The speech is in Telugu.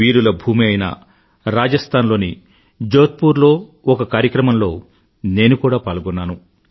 వీరుల భూమి అయిన రాజస్థాన్ లోని జోధ్పూర్ లో ఒక కార్యక్రమంలో నేను కూడా పాల్గొన్నాను